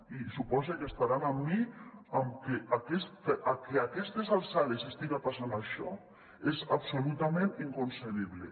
i supose que estaran amb mi amb que que a aquestes alçades estiga passant això és absolutament inconcebible